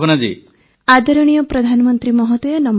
ଭାବନା ଆଦରଣୀୟ ପ୍ରଧାନମନ୍ତ୍ରୀ ମହୋଦୟ ନମସ୍କାର